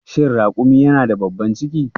Shin raƙumi yana da babban ciki?